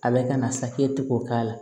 A bɛ ka na saki tɛ k'o k'a la